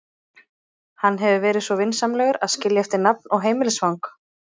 Hann hefur verið svo vinsamlegur að skilja eftir nafn og heimilisfang.